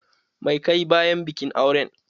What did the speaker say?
Mai ka yi bayan bikin auren?